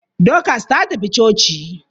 Dorcas ta tafi coci?